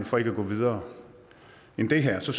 for ikke at gå videre end det her